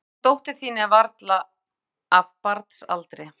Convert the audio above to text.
En hún dóttir þín er varla af barnsaldri.